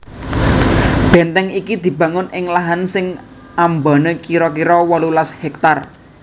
Bèntèng iki dibangun ing lahan sing ambané kira kira wolulas hèktar